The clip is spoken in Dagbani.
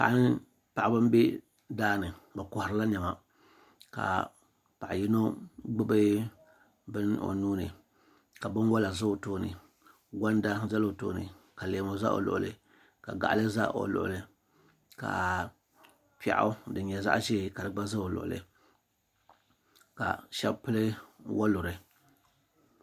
Paɣiba m-be daa ni bɛ kɔhirila nɛma ka paɣa yino gbubi bini o nuu ni ka binwala za o tooni gɔnda zala o tooni ka leemu za o luɣili ka gaɣili za o luɣili ka piɛɣu din nyɛ zaɣ'ʒee ka di gba za o luɣili ka shɛba pili waluri.